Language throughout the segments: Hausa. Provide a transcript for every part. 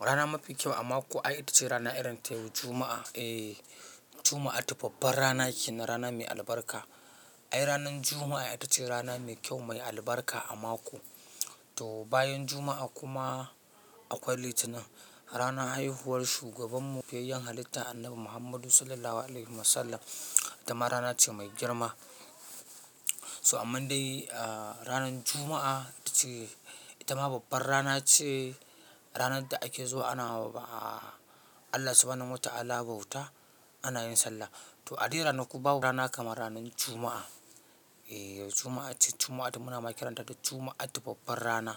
Rana mafi kyau a mako ai ita ce rana irin ta yau Juma'a. Eh, Juma'atu babbar rana kenanrana mai albarka. Ai ranar Juma'a ita ce rana mai kyau mai albarka a mako. To bayan Juma'a kuma akwai Litinin, ranar haihuwar shugaban mu, feyayan halitta Annabi Muhammadu Sallallahu Alaihi Wasallam. Ita ma rana ce mai girma. So amma dai ranar Juma'a ita ce, ita ma babbar rana ce. Ranar da ake zuwa ana ba, Allah Subhanahu wa Ta'ala bauta ana yin sallah. To a dai rana ku bawa rana kamar ranar Juma'a. Eh Juma'a ce Juma'a da muna ma kiranta da Juma'a tufaffar rana.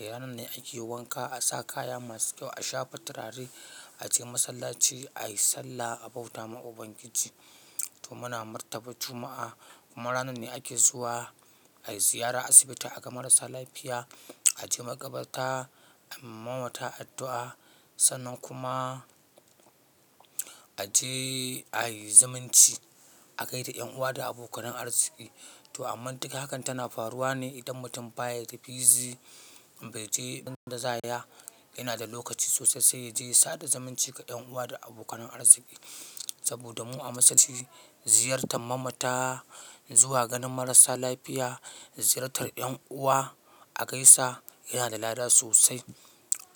Eh ranar ne ake wanka, a sa kaya masu kyau, a shafa turare, a je masallaci, a yi sallah, a bauta ma Ubangiji. To muna martaba Juma'a kuma ranar ne ake zuwa a yi ziyara asibiti a ga marasa lafiya, a je makabarta, a mamata addu'a. Sannan kuma a je a yi zumunci, a gai da 'yan uwa da abokanan arziki. To amma duka hakan tana faruwa ne idan mutum fa ba ya da busy, bai je inda za ya. Yana da lokaci sosai sai ya je ya sada zumunci ga 'yan uwa da abokanan arziki. Saboda mu a musulunci ziyartar mamata, zuwa ganin marasa lafiya, ziyartar 'yan uwa, a gaisa yana da lada sosai.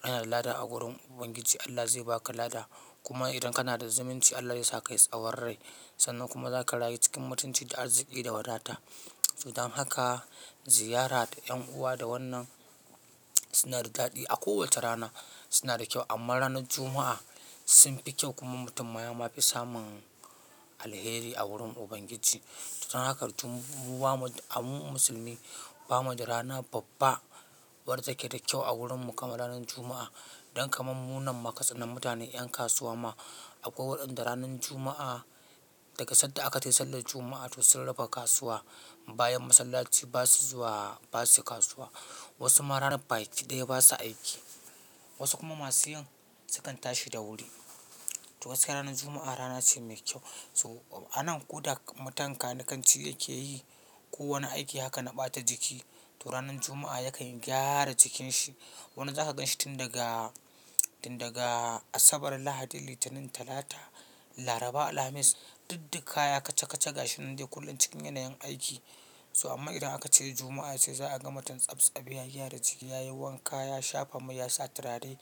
Yana da lada a wurin Ubangiji Allah zai baka lada. Kuma idan kana da zumunci Allah ya sa ka yi tsawon rai. Sannan kuma za ka rayu cikin mutunci da arziki da wadata. To dan haka ziyara da 'yan uwa da wannan suna da dadi a kowace rana suna da kyau amma ranar Juma'a sun fi kyau kuma mutum ma ya ma fi samun alheri a wurin Ubangiji. To don haka kartu mu wa mu musulmi, ba mu da rana babba wadda take da kyau a wurin mu kamar ranar Juma'a. Don kamammunan makatsinan mutane 'yan kasuwa ma. Akwai waɗanda ranar Juma'a daga sanda aka tafi sallar Juma'a to sun rufe kasuwa. Bayan masallaci ba su zuwa, ba su kasuwa. Wasu ma ranar baki daya ba su aiki. Wasu kuma masu yin sukan tashi da wuri. To wasu ranar Juma'a rana ce mai kyau. So anan ko da mutum kanikanci yake yi kowane aiki haka na ɓata jiki. To ranar Juma'a yakan gyara jikin shi. Wani za ka ganshi tun daga, tun daga Asabar, Lahadi, Litinin, Talata, Laraba, Alhamis, duk duk kaya kaca kaca gashi nan dai kullum cikin yanayin aiki. So amma idan aka ce Juma'a sai za a ga mutum tsabtsabi ya gyara jiki, ya yi wanka, ya shafa mai, ya sa turare,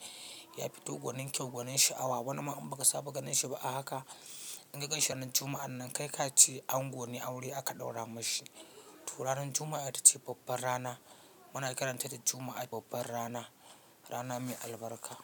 ya fito gwanin kyau gwanin sha'awa. Wani ma in ba ka saba ganin shi ba a haka in ka ganshi ran Juma'an nan kai ka ce ango ne aure aka ɗaura mashi. To ranar Juma'a ita ce babbar rana. Muna kiranta da Juma'a babbar rana, rana mai albarka.